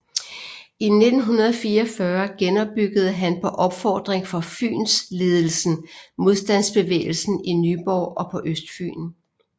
I 1944 genopbyggede han på opfordring fra Fynsledelsen modstandsbevægelsen i Nyborg og på Østfyn